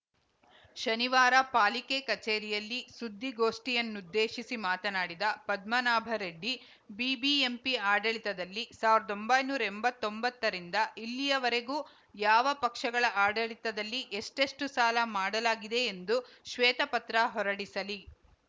ಶನಿವಾರ ಪಾಲಿಕೆ ಕಚೇರಿಯಲ್ಲಿ ಸುದ್ದಿಗೋಷ್ಠಿಯನ್ನುದ್ದೇಶಿಸಿ ಮಾತನಾಡಿದ ಪದ್ಮನಾಭರೆಡ್ಡಿ ಬಿಬಿಎಂಪಿ ಆಡಳಿತದಲ್ಲಿ ಸಾವಿರದ್ ಒಂಬೈನೂರ ಎಂಬತ್ತೊಂಬತ್ತರಿಂದ ಇಲ್ಲಿಯವರೆಗೂ ಯಾವ ಪಕ್ಷಗಳ ಆಡಳಿತದಲ್ಲಿ ಎಷ್ಟೆಷ್ಟುಸಾಲ ಮಾಡಲಾಗಿದೆ ಎಂದು ಶ್ವೇತಪತ್ರ ಹೊರಡಿಸಲಿ